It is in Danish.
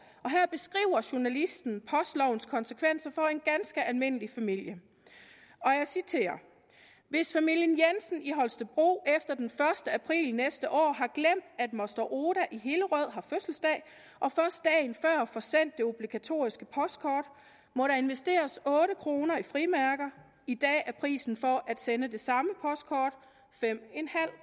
og her beskriver journalisten postlovens konsekvenser for en ganske almindelig familie jeg citerer hvis familien jensen i holstebro efter den første april næste år har glemt at moster oda i hillerød har fødselsdag og først dagen før får sendt det obligatoriske kort må der investeres otte kroner i frimærker i dag er prisen for at sende samme kort fem